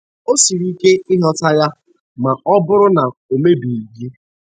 O siri ike ịghọta ya ma ọ bụrụ na o mebeghị gị.